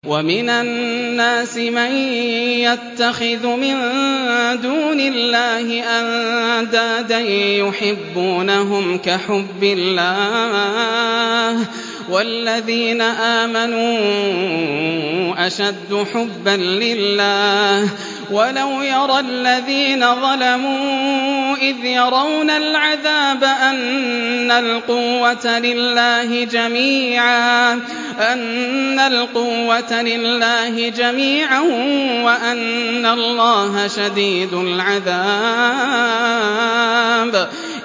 وَمِنَ النَّاسِ مَن يَتَّخِذُ مِن دُونِ اللَّهِ أَندَادًا يُحِبُّونَهُمْ كَحُبِّ اللَّهِ ۖ وَالَّذِينَ آمَنُوا أَشَدُّ حُبًّا لِّلَّهِ ۗ وَلَوْ يَرَى الَّذِينَ ظَلَمُوا إِذْ يَرَوْنَ الْعَذَابَ أَنَّ الْقُوَّةَ لِلَّهِ جَمِيعًا وَأَنَّ اللَّهَ شَدِيدُ الْعَذَابِ